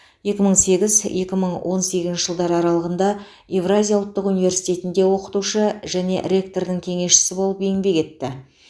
екі мың сегіз екі мың он сегізінші жылдар аралығында евразия ұлттық университетінде оқытушы және ректордың кеңесшісі болып еңбек етті